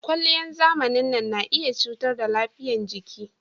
Kwalliyan zamanin nan na iya cutar da lafiyan jiki